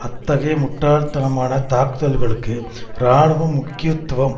அத்தகைய முட்டாள்தனமான தாக்குதல்களுக்கு இராணுவ முக்கியத்துவம்